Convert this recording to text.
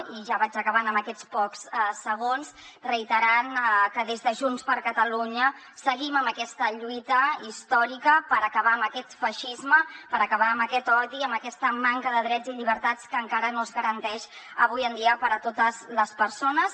i ja vaig acabant en aquests pocs segons reiterant que des de junts per catalunya seguim en aquesta lluita històrica per acabar amb aquest feixisme per acabar amb aquest odi amb aquesta manca de drets i llibertats que encara no es garanteixen avui en dia per a totes les persones